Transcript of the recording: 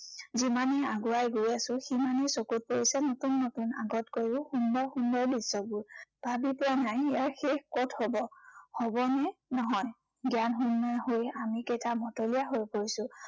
যিমানেই আগুৱাই গৈ আছো, সিমানেই চকুত পৰিছে নতুন নতুন আগতকৈও সুন্দৰ সুন্দৰ দৃশ্য়বোৰ। ভাবি পোৱা নাই ইয়াৰ শেষ কত হব। হবনে নহয়। জ্ঞানশূণ্য় হৈ আমিকেইটা মতলীয়া হৈ পৰিছো।